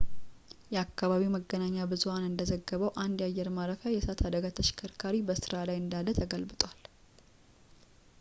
የአካባቢው መገናኛ ብዙሐን እንደዘገበው አንድ የአየር ማረፊያ የእሳት አደጋ ተሽከርካሪ በስራ ላይ እንዳለ ተገልብጧል